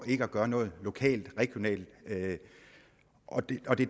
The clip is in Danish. ikke at gøre noget lokalt og regionalt og det er det